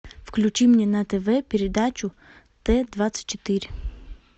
включи мне на тв передачу т двадцать четыре